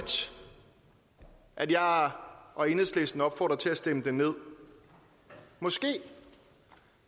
at jeg og og enhedslisten opfordrer til at stemme det ned måske